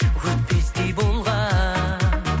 өтпестей болған